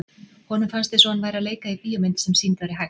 Honum fannst eins og hann væri að leika í bíómynd sem sýnd væri hægt.